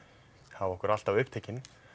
hafa okkur alltaf upptekin